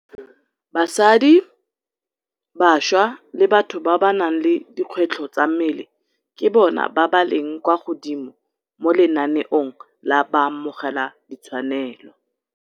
Basadi, bašwa le batho ba ba nang le dikgwetlho tsa mmele ke bona ba ba leng kwa godimo mo lenaneong la baamogeladitshwanelo.